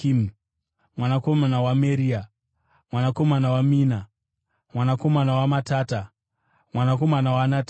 mwanakomana waMerea, mwanakomana waMena, mwanakomana waMatata, mwanakomana waNatani, mwanakomana waDhavhidhi,